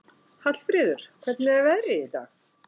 Hallfríður, hvernig er veðrið í dag?